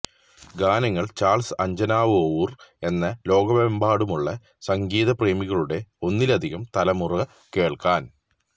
ഗാനങ്ങൾ Charles Aznavour എന്ന ലോകമെമ്പാടുമുള്ള സംഗീത പ്രേമികളുടെ ഒന്നിലധികം തലമുറ കേൾക്കാൻ